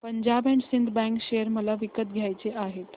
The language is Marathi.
Punjab and Sind bank share मला विकत घ्यायचे आहेत